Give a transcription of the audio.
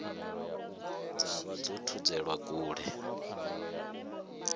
dza vha dzo thudzelwa kule